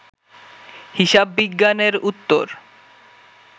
হিসাববিজ্ঞানের উত্তর